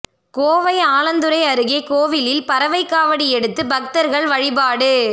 கோவை ஆலாந்துறை அருகே கோவிலில் பறவை காவடி எடுத்து பக்தர்கள் வழிபாடு